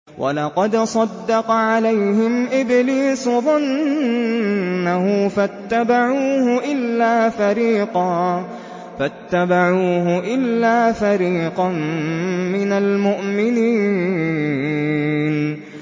وَلَقَدْ صَدَّقَ عَلَيْهِمْ إِبْلِيسُ ظَنَّهُ فَاتَّبَعُوهُ إِلَّا فَرِيقًا مِّنَ الْمُؤْمِنِينَ